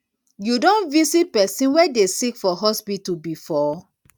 you don visit pesin wey dey sick for hospital before